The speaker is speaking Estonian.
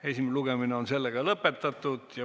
Esimene lugemine on lõppenud.